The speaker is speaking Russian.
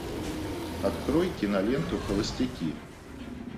открой киноленту холостяки